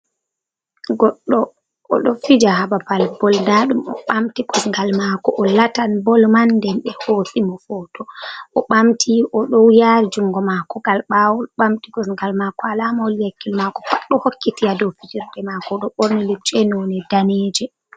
Goɗɗo o ɗo fija haa babal bol, nda ɗum o ɓamti kosgal maako, o latan bol man nden ɓe hoosi mo hoto, o ɓamti o ɗo yaari jungo maako ngal ɓaawo, ɓamti kosgal maako, alama holli hakkilo maako pat ɗo hokkiti haa do fijerde maako, o ɗo ɓorni lushe none daneeje.